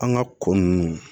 An ka ko ninnu